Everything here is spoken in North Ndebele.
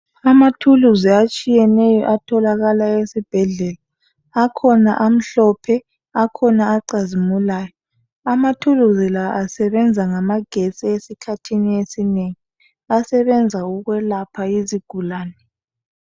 Amathuluzi atshiyeneyo atholakala esibhedlela .Akhona amhlophe, akhona acazimulayo . Amathuluzi la asebenza ngamagestsi esikhathini esinengi. Asebenza ukwelapha izigulane .